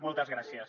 moltes gràcies